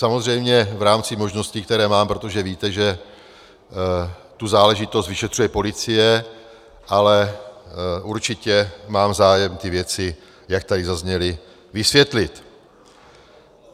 Samozřejmě v rámci možností, které mám, protože víte, že tu záležitost vyšetřuje policie, ale určitě mám zájem ty věci, jak tady zazněly, vysvětlit.